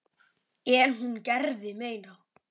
En hún gerði meira.